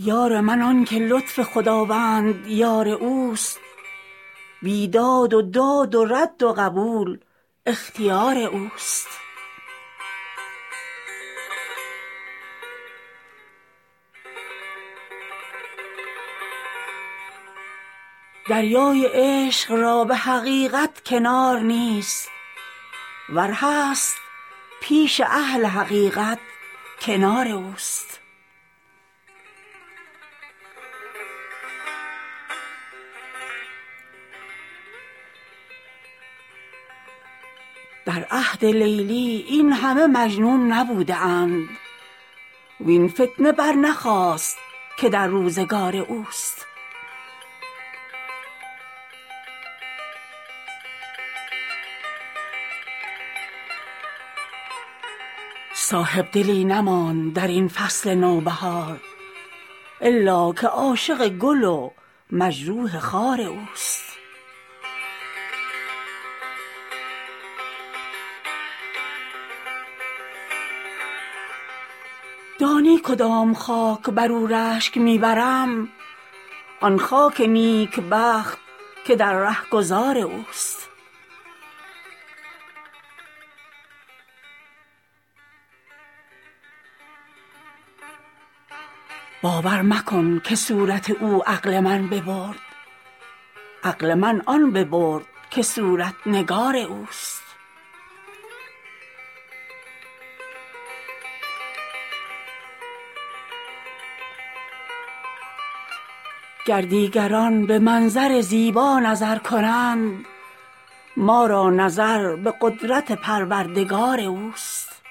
یار من آن که لطف خداوند یار اوست بیداد و داد و رد و قبول اختیار اوست دریای عشق را به حقیقت کنار نیست ور هست پیش اهل حقیقت کنار اوست در عهد لیلی این همه مجنون نبوده اند وین فتنه برنخاست که در روزگار اوست صاحبدلی نماند در این فصل نوبهار الا که عاشق گل و مجروح خار اوست دانی کدام خاک بر او رشک می برم آن خاک نیکبخت که در رهگذار اوست باور مکن که صورت او عقل من ببرد عقل من آن ببرد که صورت نگار اوست گر دیگران به منظر زیبا نظر کنند ما را نظر به قدرت پروردگار اوست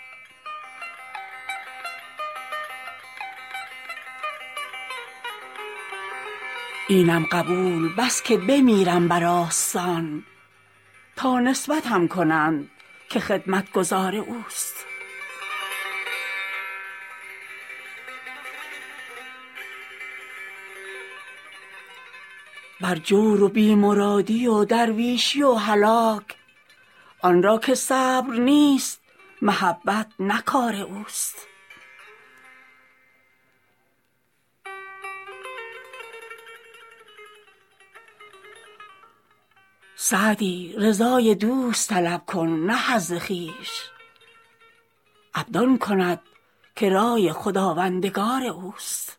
اینم قبول بس که بمیرم بر آستان تا نسبتم کنند که خدمتگزار اوست بر جور و بی مرادی و درویشی و هلاک آن را که صبر نیست محبت نه کار اوست سعدی رضای دوست طلب کن نه حظ خویش عبد آن کند که رای خداوندگار اوست